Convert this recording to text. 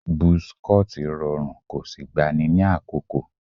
Buzz cut rọrùn kò sì gbani ní àkókò